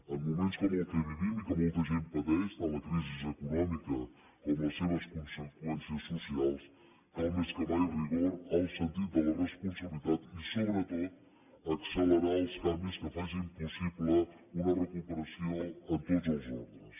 en moments com el que vivim i que molta gent pateix tant la crisi econòmica com les seves conseqüències socials cal més que mai rigor alt sentit de la responsabilitat i sobretot accelerar els canvis que facin possible una recuperació en tots els ordres